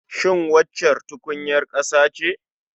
Shin waccan tukunyar ƙasa ce?